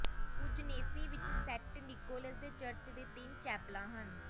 ਕੂਜਨੇਸੀ ਵਿਚ Saint Nicholas ਦੇ church ਦੇ ਤਿੰਨ ਚੈਪਲਾਂ ਹਨ